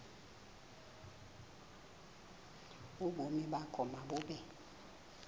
ubomi bakho mabube